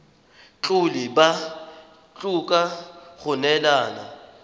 tlhole ba tlhoka go neelana